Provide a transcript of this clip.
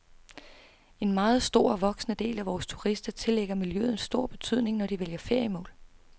En meget stor og voksende del af vores turister tillægger miljøet stor betydning når de vælger feriemål.